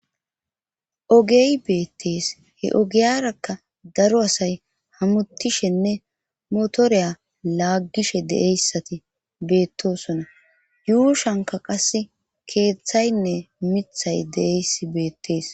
ogey beettees he ogiyarakka daro asay hamutishenne motoreya laaggishe deeyssati beettosona yuushanka qas keeththaynne mithay deeys beettees